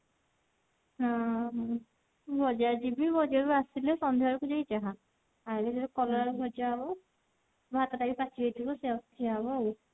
ହଁ ବଜାର ଜିବି ବଜାର ବଜାର ରୁ ଆସିଲେ ସନ୍ଧ୍ୟା ବେଳକୁ ଯାଇକି ଯାହା ଆଇଲେ ଖାଲି କଲରା ଟା ଭଜା ହବ ଭାତ ଟା ବି ସେଇଆ କୁ ଖିଆ ହବ ଆଉ।